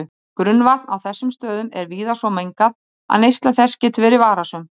Grunnvatn á þessum stöðum er víða svo mengað að neysla þess getur verið varasöm.